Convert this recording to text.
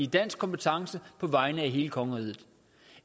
dansk kompetence på vegne af hele kongeriget